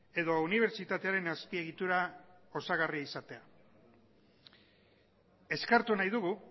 edo unibertsitatearen azpiegitura osagarria izatea eskertu nahi dugu